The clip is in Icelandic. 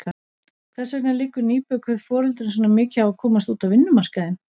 Hvers vegna liggur nýbökuðum foreldrum svona mikið á að komast út á vinnumarkaðinn?